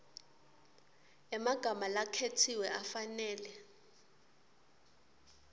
emagama lakhetsiwe afanele